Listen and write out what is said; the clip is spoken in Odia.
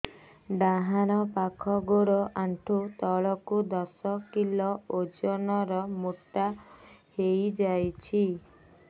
ଡାହାଣ ପାଖ ଗୋଡ଼ ଆଣ୍ଠୁ ତଳକୁ ଦଶ କିଲ ଓଜନ ର ମୋଟା ହେଇଯାଇଛି